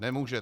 Nemůže.